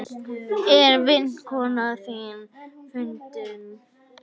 Er vinkona þín fundin?